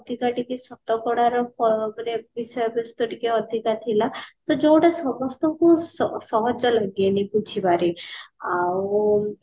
ଅଧିକା ଟିକେ ଶତକଡା ଏ ଅ ମାନେ ବିଷୟ ବସ୍ତୁ ଟିକେ ଅଧିକା ଥିଲା ତ ଯୋଉଟା ସମସ୍ତଙ୍କୁ ସ ସହଜ ଲଗେନି ବୁଝିବାରେ ଆଉ